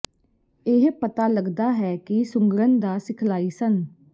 ਇਹ ਪਤਾ ਲੱਗਦਾ ਹੈ ਕਿ ਸੁੰਗੜਨ ਦਾ ਸਿਖਲਾਈ ਸਨ